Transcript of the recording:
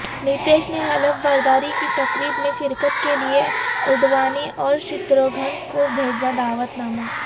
نتیش نے حلف برداری کی تقریب میں شرکت کیلئے اڈوانی اورشتروگھن کو بھیجا دعوت نامہ